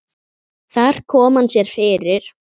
Þar kom hann sér fyrir.